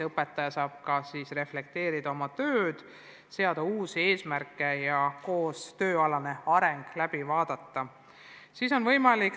Õpetaja saab ka siis reflekteerida oma tööd, seada uusi eesmärke, koostööalane areng vaadatakse läbi.